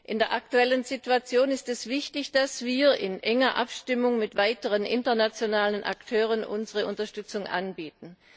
In der aktuellen Situation ist es wichtig, dass wir in enger Abstimmung mit weiteren internationalen Akteuren unsere Unterstützung anbieten.